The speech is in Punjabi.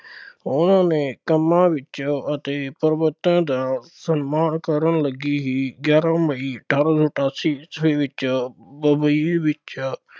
ਉਹਨਾ ਨੇ ਕੰਮਾਂ ਵਿੱਚ ਅਤੇ ਪ੍ਰਭੂਤਾ ਦਾ ਸਨਮਾਨ ਕਰਨ ਲੱਗੇ ਹੀ ਗਿਆਰਾਂ ਮਈ ਅਠਾਰਾਂ ਸੌ ਅਠਾਸੀ ਈਸਵੀ ਵਿੱਚ ਬੰਬਈ ਵਿੱਚ